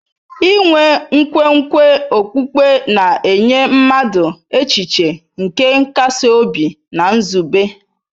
Inwe nkwenkwe okpukpe na-enye mmadụ echiche nke nkasi obi na nzube.